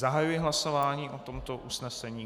Zahajuji hlasování o tomto usnesení.